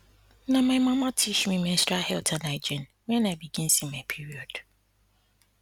na my mama teach me menstrual health and hygiene when i begin see my period